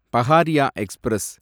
Pahariya express